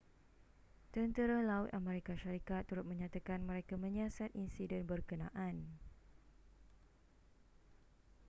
tentera laut amerika syarikat turut menyatakan mereka menyiasat insiden berkenaan